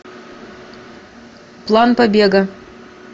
план побега